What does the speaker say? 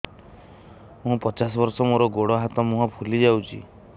ମୁ ପଚାଶ ବର୍ଷ ମୋର ଗୋଡ ହାତ ମୁହଁ ଫୁଲି ଯାଉଛି